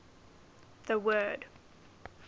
the word